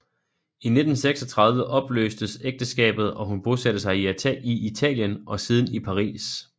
I 1936 opløstes ægteskabet og hun bosatte sig i Italien og siden i Paris